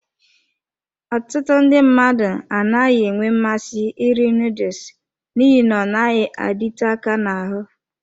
Ọtụtụ ndị mmadụ anaghị enwe mmasị iri noodles n'ihi na ọ naghị adịte aka n'ahụ.